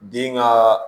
Den ka